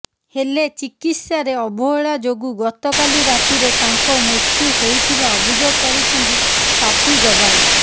ହେଲେ ଚିକିତ୍ସାରେ ଅବହେଳା ଯୋଗୁଁ ଗତକାଲି ରାତିରେ ତାଙ୍କ ମୃତ୍ୟୁ ହୋଇଥିବା ଅଭିଯୋଗ କରିଛନ୍ତି ସାଥୀ ଯବାନ